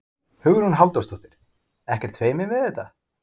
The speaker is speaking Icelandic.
Hugrún Halldórsdóttir: Ekkert feiminn við þetta?